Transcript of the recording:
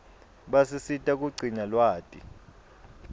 basisita kugcina lwati